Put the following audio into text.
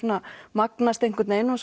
magnast einhvern vegin og